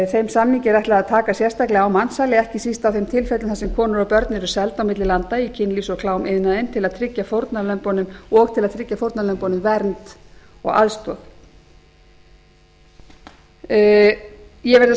þeim samningi er ætlað að taka sérstaklega á mansali ekki síst á þeim tilfellum þar sem konur og börn eru seld milli landa í kynlífs og klámiðnaðinn og til að tryggja fórnarlömbunum vernd og aðstoð ég verð að